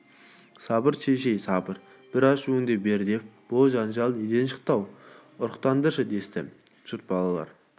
сабыр шешей сабыр бір ашуыңды бер деп бұ жанжал неден шықты ау ұқтырындаршы десті жұрт балалар